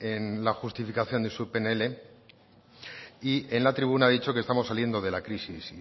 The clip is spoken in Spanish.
en la justificación de su pnl y en la tribuna ha dicho que estamos saliendo de la crisis